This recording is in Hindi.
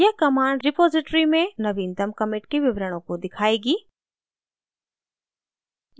यह command repository में नवीनतम commit के विवरणों को दिखाएगी